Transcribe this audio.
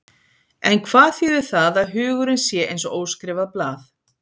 En hvað þýðir það að hugurinn sé eins og óskrifað blað?